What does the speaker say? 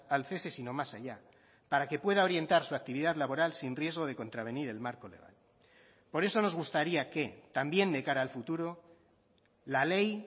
al cese sino más allá para que pueda orientar su actividad laboral sin riesgo de contravenir el marco legal por eso nos gustaría que también de cara al futuro la ley